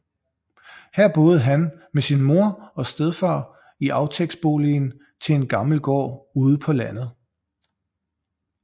Her boede han med sin mor og stedfar i aftægtsboligen til en gammel gård ude på landet